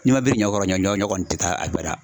N'i ma biri ɲɔ kɔrɔ ɲɔ kɔni tɛ taa abada